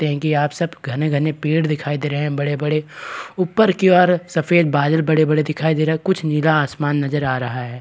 देंगे कि आप सब घने-घने पेड़ दिखाई दे रहे हैं बड़े-बड़े ऊपर की और सफेद बाजल बड़े-बड़े दिखाई दे रहा है कुछ नीला आसमान नजर आ रहा है।